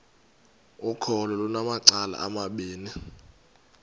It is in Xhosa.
ukholo lunamacala amabini